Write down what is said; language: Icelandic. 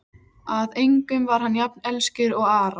Að engum var hann jafn elskur og Ara.